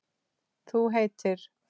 Þú heitir?